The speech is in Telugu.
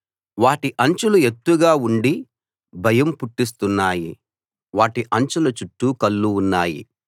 వాటి అంచులు ఎత్తుగా ఉండి భయం పుట్టిస్తున్నాయి వాటి అంచుల చుట్టూ కళ్ళు ఉన్నాయి